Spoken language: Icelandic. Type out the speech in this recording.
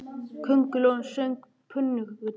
Köngulóin söng pönktónlist!